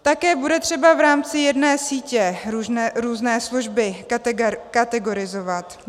Také bude třeba v rámci jedné sítě různé služby kategorizovat.